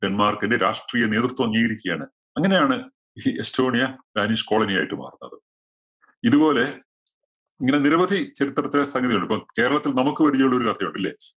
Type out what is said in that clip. ഡെന്മാര്‍ക്കിന്റെ രാഷ്ട്രീയ നേതൃത്വം അംഗീകരിക്കുകയാണ്. അങ്ങനെയാണ് ഈ എസ്റ്റോണിയ danish colony യായിട്ട് മാറുന്നത്. ഇതുപോലെ ഇങ്ങനെ നിരവധി ചരിത്രത്തെ സംഗതികളുണ്ട്. കേരളത്തില്‍ നമുക്ക് പരിചയമുള്ള ഒരു കഥയുണ്ട്. ഇല്ലേ?